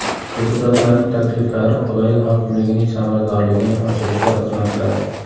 Deputatlarning takliflari viloyat hokimligining samaradorligini oshirishga xizmat qiladi.